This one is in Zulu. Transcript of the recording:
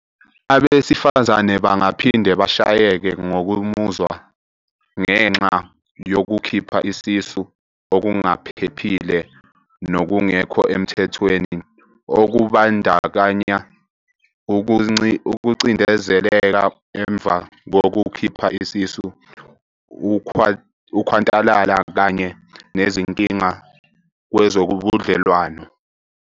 "Abesifazane bangaphinde bashayeke ngokomuzwa ngenxa yokukhipha isisu okungaphephile, nokungekho emthethweni, okubandakanya ukucindezeleka emva kokukhipha isisu, ukhwantalala kanye nezinkinga kwezobudlelwano."